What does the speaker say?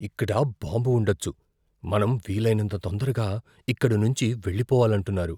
ఇక్కడ బాంబు ఉండొచ్చు, మనం వీలైనంత తొందరగా ఇక్కడి నుంచీ వెళ్లిపోవాలంటున్నారు.